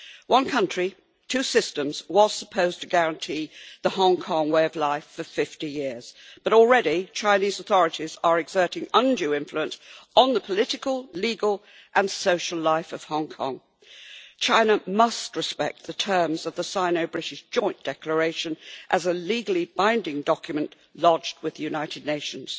One country, two systems was supposed to guarantee the Hong Kong way of life for 50 years, but already Chinese authorities are exerting undue influence on the political, legal and social life of Hong Kong. China must respect the terms of the Sino British Joint Declaration as a legally binding document lodged with the United Nations.